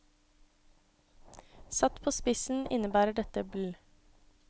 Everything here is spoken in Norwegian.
Satt på spissen innebærer det bl.